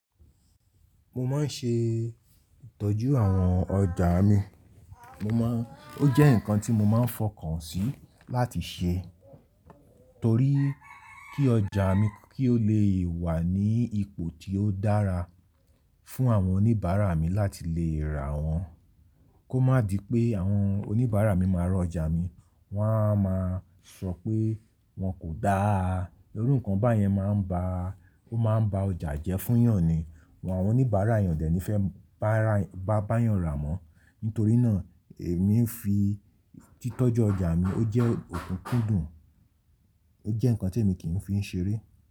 Mo máa ń ṣe ìtọ́jú àwọn ọjà mi. Mo máa ń, ó jẹ́ nǹkan tí mo máa ń fọkàn sí láti ṣe torí kí ọjà mi kí ó lè wà ní ipò tí ó dára fún àwọn oníbàárà mi láti lè rà wọ́n. Kó má di pé àwọn oníbàárà mi máa rọ̀ ọjà mi, wọn a máa sọ pé wọn kò dáa. Irú nǹkan báyẹn máa ń ba, ó máa ń ba ọjà jẹ́ fún ìyàn ni. Àwọn oníbàárà ìyàn dẹ̀ ni fẹ́ bá ìyàn rà mọ́. Nítorí náà èmi ń fi títọ́jú ọjà mi, ó jẹ́ okùn kúdùn, ó jẹ́ nǹkan tí èmi kì í fi ń ṣeré.